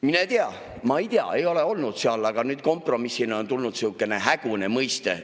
Mine tea, ma ei tea, ei ole olnud seal, aga nüüd kompromissina on tulnud sihukene hägune mõiste.